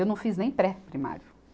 Eu não fiz nem pré-primário.